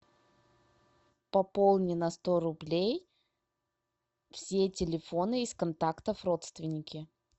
пополни на сто рублей все телефоны из контактов родственники